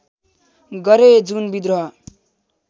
गरे जुन विद्रोह